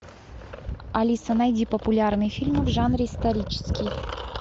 алиса найди популярный фильм в жанре исторический